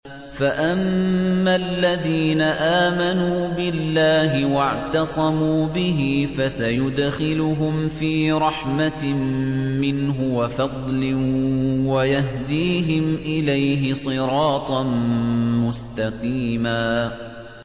فَأَمَّا الَّذِينَ آمَنُوا بِاللَّهِ وَاعْتَصَمُوا بِهِ فَسَيُدْخِلُهُمْ فِي رَحْمَةٍ مِّنْهُ وَفَضْلٍ وَيَهْدِيهِمْ إِلَيْهِ صِرَاطًا مُّسْتَقِيمًا